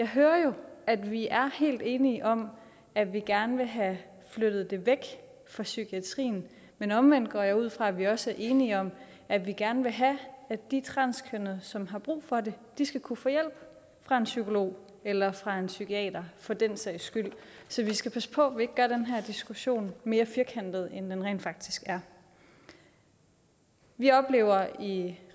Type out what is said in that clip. hører at vi er helt enige om at vi gerne vil have flyttet det væk fra psykiatrien men omvendt går jeg ud fra at vi også er enige om at vi gerne vil have at de transkønnede som har brug for det skal kunne få hjælp fra en psykolog eller fra en psykiater for den sags skyld så vi skal passe på at vi ikke gør den her diskussion mere firkantet end den rent faktisk er vi oplever i